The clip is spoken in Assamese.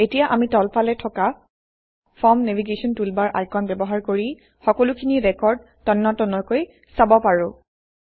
এতিয়া আমি তলফালে থকা ফৰ্ম নেভিগেশ্যন টুলবাৰ আইকন ব্যৱহাৰ কৰি সকলোখিনি ৰেকৰ্ড তন্নতন্নকৈ চাব পাৰোঁ